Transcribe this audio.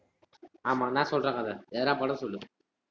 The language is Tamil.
ஆமா நான் சொல்றேன் கதை எதுனா படம் சொல்லு.